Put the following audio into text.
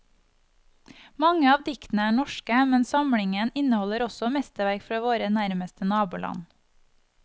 Mange av diktene er norske, men samlingen inneholder også mesterverk fra våre nærmeste naboland.